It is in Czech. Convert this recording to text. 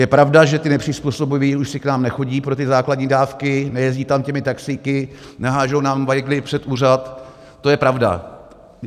Je pravda, že ti nepřizpůsobiví už si k nám nechodí pro ty základní dávky, nejezdí tam těmi taxíky, nehází nám vajgly před úřad, to je pravda.